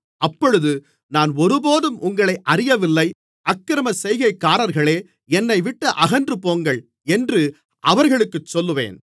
அப்பொழுது நான் ஒருபோதும் உங்களை அறியவில்லை அக்கிரமச்செய்கைக்காரர்களே என்னைவிட்டு அகன்றுபோங்கள் என்று அவர்களுக்குச் சொல்லுவேன்